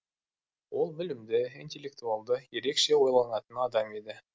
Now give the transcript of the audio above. ол білімді интеллектуалды ерекше ойланатын адам еді